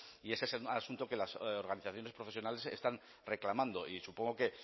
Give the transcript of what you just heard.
y ese es el asunto que las organizaciones profesionales están reclamando y supongo que